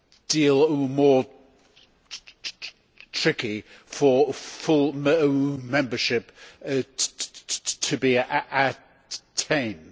deal more tricky for full membership to be attained.